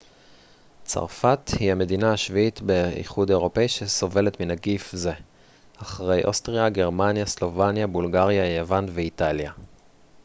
צרפת היא המדינה השביעית באיחוד האירופי שסובלת מנגיף זה אחרי אוסטריה גרמניה סלובניה בולגריה יוון ואיטליה